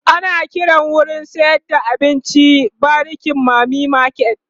ana Kiran wurin sayar da kayan abinci w bariki mami market